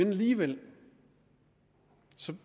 alligevel